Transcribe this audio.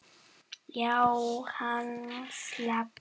Já, hann slapp.